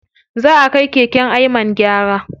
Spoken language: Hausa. Zaʼa kai keken Ayman gyara.